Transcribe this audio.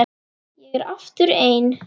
Ég er aftur ein.